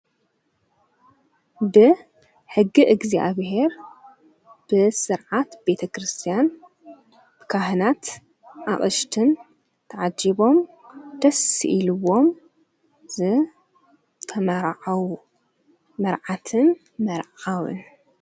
ብ ሕጊ እግዚኣብሔር ብሥርዓት ቤተ ክርስቲያን ብካህናት ኣቕሽትን ተዓዲቦም ደስኢልዎም ዝ ተመረዓዉ መርዓትን መርዓውን።